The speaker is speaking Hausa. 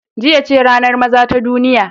Jiya ce ranar maza ta duniya.